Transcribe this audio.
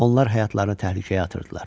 Onlar həyatlarını təhlükəyə atırdılar.